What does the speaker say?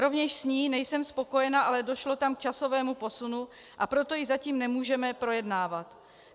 Rovněž s ní nejsem spokojena, ale došlo tam k časovému posunu, a proto ji zatím nemůžeme projednávat.